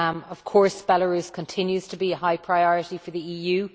Of course Belarus continues to be a high priority for the EU